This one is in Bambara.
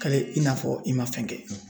Kale i n'a fɔ i ma fɛn kɛ